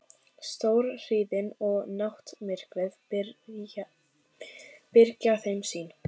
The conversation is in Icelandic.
Stórhríðin og náttmyrkrið byrgja þeim sýn.